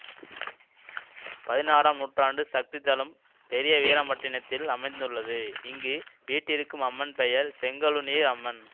பதினாறாம் நூற்றாண்டு சக்தி தலம் பெரிய வீராம்பட்டினதில் அமைத்துள்ளது இங்கு வீற்றிருக்கும் அம்மன் பெயர் செங்கழுநீர் அம்மன்